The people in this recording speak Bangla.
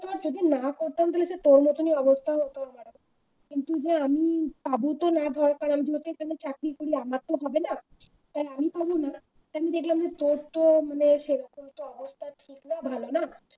তোকে প্রথমে না করতাম তাহলে তোর মতন অবস্থা হয়ে থাকবে শুধু আমি পাবো তো না যেহেতু চাকরি করি আমাদের তো আর হবে না তাই আমি পাব না আমি দেখলাম যে তোর তো মানে অবস্থা সেরকম ভালো না